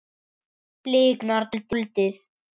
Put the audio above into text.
Bliknar dáldið.